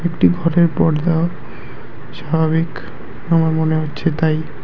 এটি ঘরের পর্দা স্বাভাবিক আমার মনে হচ্ছে তাই--